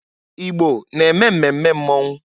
Igbo na-eme mmemme mmọnwụ.